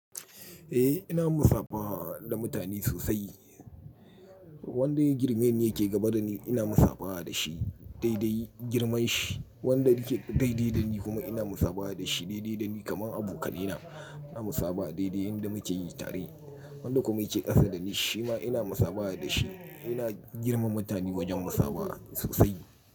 Eh ina musabaha da mutane sosai. Wanda ya girmeni yake gaba da ni ina musabaha da shi daidai girman shi. Wanda yake daidai da ni kuma ina musabaha da shi daidai da ni. Kaman abokanaina ina musaba daidai yanda muke yi tare. Wanda kuma yake ƙasa da ni shi ma ina musabaha da shi. Ina girmama mutane wajen musaba sosai.